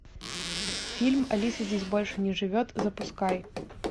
фильм алиса здесь больше не живет запускай